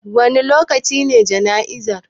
Wane lokaci ne jana'izar?